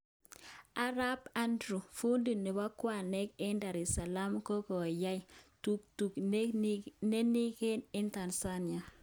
arap Andrew, fundi nepo kawek en Dar saleem ko koyaan tuktukit ne ninekeeen en Tanzania